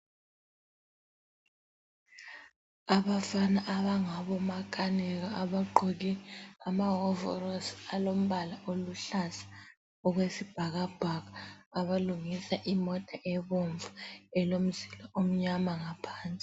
Abafana abangabomakhanika ,abagqoke amahovorosi alombala oluhlaza okwesibhakabhaka ,abalungisa imota ebomvu elomzila omnyama ngaphansi.